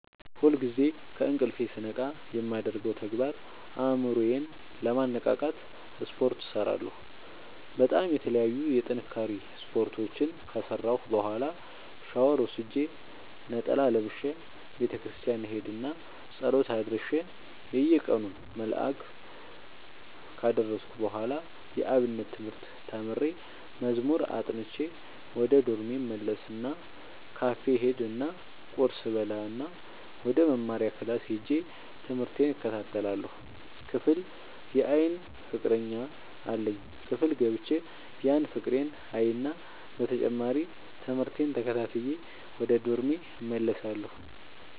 ሁልጊዜ ከእንቅልፎ ስነቃ የማደርገው ተግባር አእምሮ ዬን ለማነቃቃት ስፓርት እሰራለሁ በጣም የተለያዩ የጥንካሬ ስፓርቶችን ከሰራሁ በኋላ ሻውር ወስጄ ነጠላ ለብሼ ቤተክርስቲያን እሄድ እና ፀሎት አድርሼ የየቀኑን መልክአ ካደረስኩ በኋላ የአብነት ትምህርት ተምሬ መዝሙር አጥንቼ ወደ ዶርሜ እመለስ እና ካፌ እሄድ እና ቁርስ እበላእና ወደመማሪያክላስ ሄጄ ትምህቴን እከታተላለሁ። ክፍል የአይን ፍቀረኛ አለኝ ክፍል ገብቼ ያን ፍቅሬን አይና በተጨማሪም ትምህርቴን ተከታትዬ ወደ ዶርሜ እመለሳለሁ።